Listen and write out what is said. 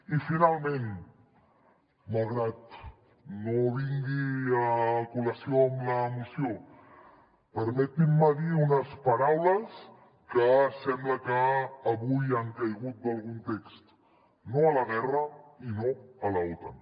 i finalment malgrat que no vingui a col·lació amb la moció permetin me dir unes paraules que sembla que avui han caigut d’algun text no a la guerra i no a l’otan